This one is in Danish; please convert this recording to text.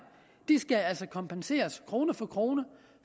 skal kompenseres krone for krone